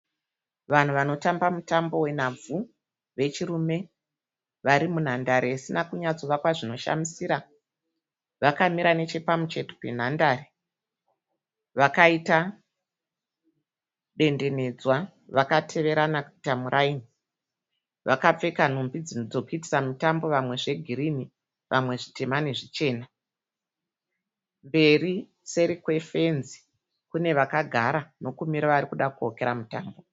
Vanhu vanotamba mutambo wenhabvu vechirume. Vari munhandare isina kunyatsovakwa zvinoshamisira. Vakamira nechepamucheto penhandare. Vakaita dendenedzwa vakateverana kuita muraini. Vakapfeka nhumbi dzokuitisa mutambo vamwe zvegirini vamwe zvitema nezvichena. Mberi seri kwefenzi kune vakagara nekumira varikuda kuokera mutambo.